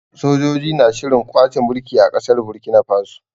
Sojoji na shirin kwace mulki a ƙasar Burkina Faso.